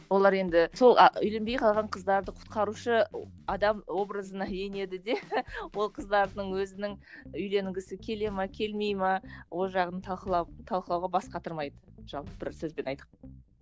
олар енді сол а үйленбей қалған қыздарды құтқарушы адам образына енеді де ол қыздардың өзінің үйленгісі келе ме келмей ме ол жағын талқылау талқылауға бас қатырмайды жалпы бір сөзбен